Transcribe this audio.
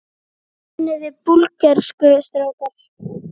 Kunniði Búlgörsku strákar?